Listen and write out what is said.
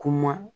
Kuma